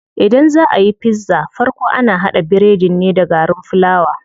Idan zaa ayi pizza farko ana haɗa biredin ne da garin fulawa.